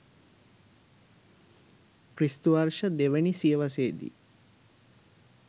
ක්‍රි.ව. 02 වැනි සියවසේ දී